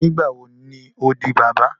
Nigbawo ni o di baba?